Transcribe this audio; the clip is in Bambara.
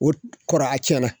O kɔrɔ a tiɲɛna.